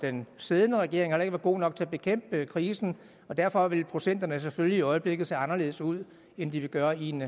den siddende regering har være god nok til at bekæmpe krisen og derfor vil procenterne selvfølgelig i øjeblikket se anderledes ud end de vil gøre i en